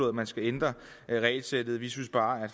at man skal ændre regelsættet vi synes bare